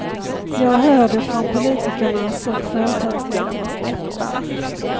Jag hör det från politikernas och företagsledarnas läppar.